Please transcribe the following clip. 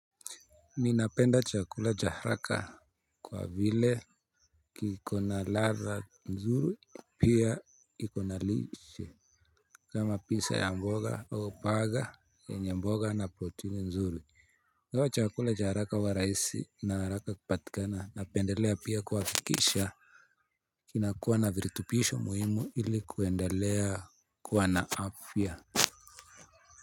Ninapenda chakula cha haraka kwa vile kiko na ladha nzuri pia iko na lishe. Kama pizza ya mboga au burger yenye mboga na protini nzuri ingawa chakula cha haraka huwa rahisi ina haraka kupatikana napendelea pia kuafikisha. Kinakuwa na viritupisho muhimu ili kuendelea kuwa na afya.